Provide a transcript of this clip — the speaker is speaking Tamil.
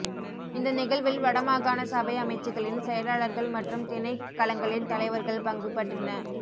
இந்த நிகழ்வில் வடமாகாண சபை அமைச்சுக்களின் செயலாளர்கள் மற்றும் திணைக்களங்களின் தலைவர்கள் பங்குபற்றின